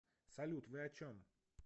салют вы о чем